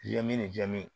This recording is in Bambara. Je ni jaabi